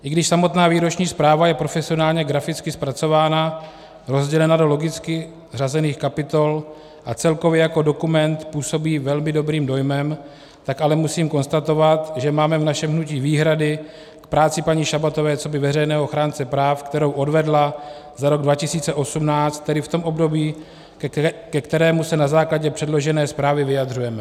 I když samotná výroční zpráva je profesionálně graficky zpracována, rozdělena do logicky řazených kapitol a celkově jako dokument působí velmi dobrým dojmem, tak ale musím konstatovat, že máme v našem hnutí výhrady k práci paní Šabatové coby veřejného ochránce práv, kterou odvedla za rok 2018, tedy v tom období, ke kterému se na základě předložené zprávy vyjadřujeme.